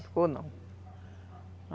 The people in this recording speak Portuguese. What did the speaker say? Não ficou não.